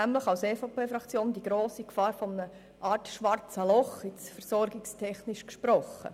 Gerade dort sehen wir die grosse Gefahr wie eine Art schwarzes Loch, versorgungstechnisch gesprochen.